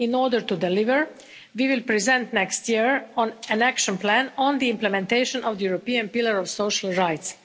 In order to deliver, we will present, next year, an action plan on the implementation of the European Pillar of Social Rights.